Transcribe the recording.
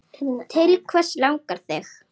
Til hvers langar þig?